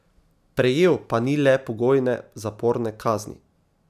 Prejel pa ni le pogojne zaporne kazni.